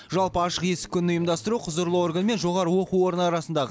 жалпы ашық есік күнін ұйымдастыру құзырлы орган мен жоғары оқу орны арасындағы